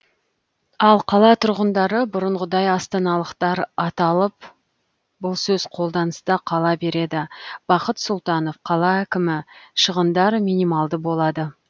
ал қала тұрғындары бұрынғыдай астаналықтар аталып бұл сөз қолданыста қала береді бақыт сұлтанов қала әкімі шығындар минималды болады